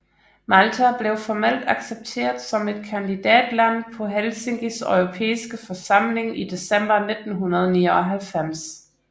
Malta blev formelt accepteret som et kandidatland på Helsinkis Europæiske Forsamling i december 1999